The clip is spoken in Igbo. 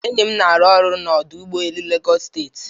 Enyi m na-arụ ọrụ na ọdụ ụgbọ elu Lagos steeti.